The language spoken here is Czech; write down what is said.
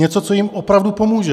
Něco, co jim opravdu pomůže.